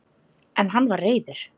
En hann var reiður!